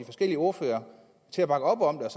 forskellige ordførere til at bakke op om